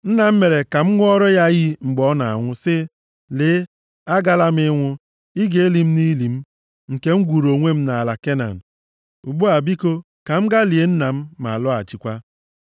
‘Nna m mere ka m ṅụọra ya iyi mgbe ọ na-anwụ, sị, “Lee, agala m ịnwụ, ị ga-eli m nʼili m, nke m gwuuru onwe m nʼala Kenan.” Ugbu a, biko ka m gaa lie nna m, ma lọghachikwa.’ ”